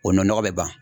O nɔnɔgɔ bɛ ban